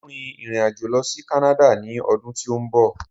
Mo ń rin ìrìn àjò lọ sí kánáda ni ọdún tí ó ń bọ̀